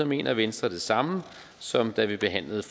mener venstre det samme som da vi behandlede